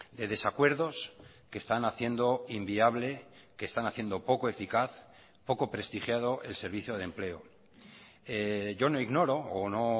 de desacuerdos que están haciendo inviable que están haciendo poco eficaz poco prestigiado el servicio de empleo yo no ignoro o no